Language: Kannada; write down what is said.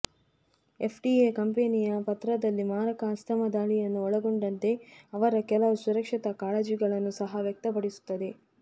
ಎಫ್ಡಿಎ ಕಂಪೆನಿಯ ಪತ್ರದಲ್ಲಿ ಮಾರಕ ಆಸ್ತಮಾ ದಾಳಿಯನ್ನೂ ಒಳಗೊಂಡಂತೆ ಅವರ ಕೆಲವು ಸುರಕ್ಷತಾ ಕಾಳಜಿಗಳನ್ನು ಸಹ ವ್ಯಕ್ತಪಡಿಸುತ್ತದೆ